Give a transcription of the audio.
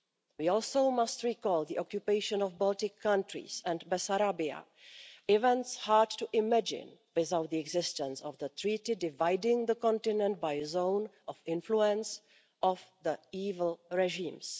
We also must recall the occupation of the Baltic countries and Bessarabia, events hard to imagine without the existence of the treaty dividing the continent by a zone of influence of the evil regimes.